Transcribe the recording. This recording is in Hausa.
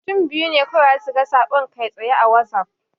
Mutum biyu ne kawai zasu ga saƙon kai-tsaye a Wazaf.